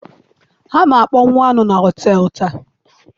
Ha na-akpọnwụ anụ na họtel taa.